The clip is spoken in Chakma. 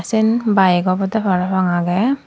sen bike obode parapang aage.